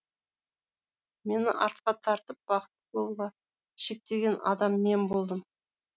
мені артқа тартып бақытты болуға шектеген адам мен болдым